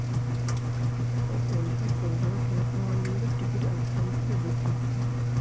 ঐসব কলকাতার cinema hall গুলোতে তে ticketphone থেকে book করতে হয়